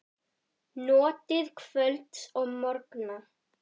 Notið kvölds og morgna.